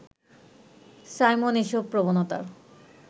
Simon এসব প্রবণতার